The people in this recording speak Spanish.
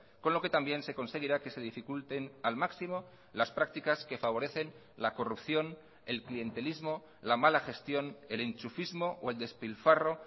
con lo que también se conseguirá que se dificulten al máximo las prácticas que favorecen la corrupción el clientelismo la mala gestión el enchufismo o el despilfarro